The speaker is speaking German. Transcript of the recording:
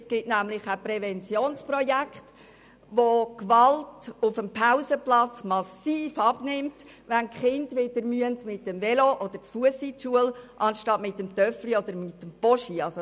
Es gibt auch Präventionsprojekte, wo die Gewalt auf dem Pausenplatz massiv abnimmt, wenn die Kinder wieder mit dem Velo oder zu Fuss zur Schule gehen müssen, statt mit dem Mofa oder mit dem Postauto.